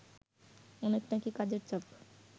অনেক নাকি কাজের চাপ